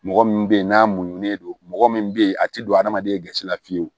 Mɔgɔ min bɛ yen n'a muɲunen don mɔgɔ min bɛ yen a tɛ don hadamaden gasi la fiyewu